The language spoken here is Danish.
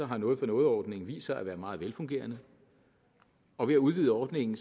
har noget for noget ordningen vist sig at være meget velfungerende og ved at udvide ordningen